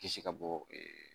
Kisi ka bɔ